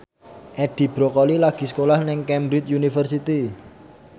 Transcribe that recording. Edi Brokoli lagi sekolah nang Cambridge University